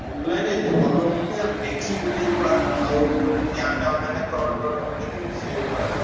Online ଏତେ ଭଲ ହବନି ତମେ ଦେଖିକି କିଣିବ ଯୋଉଭଳିଆ ଆଉ ଏମିତି ଆଣିଲେ online ରେ fraud ଫ୍ରଡ଼ ହବ ଯଦି ସିଏ ଗୋଟେ ହାଇରାଣ।